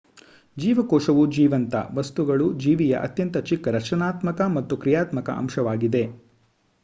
ಜೀವಕೋಶವು ಜೀವಂತ ವಸ್ತುಗಳು ಜೀವಿಯ ಅತ್ಯಂತ ಚಿಕ್ಕ ರಚನಾತ್ಮಕ ಮತ್ತು ಕ್ರಿಯಾತ್ಮಕ ಅಂಶವಾಗಿದೆ